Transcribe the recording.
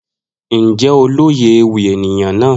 Njẹ o loye ewi eniyan naa?